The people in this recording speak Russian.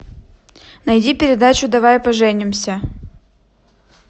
найди передачу давай поженимся